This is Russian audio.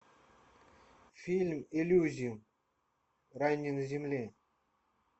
фильм элизиум рай не на земле